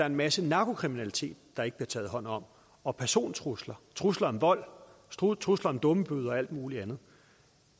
en masse narkokriminalitet der ikke bliver taget hånd om og persontrusler trusler om vold trusler om dummebøder og alt mulig andet